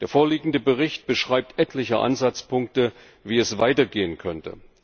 Der vorliegende Bericht beschreibt etliche Ansatzpunkte, wie es weitergehen könnte.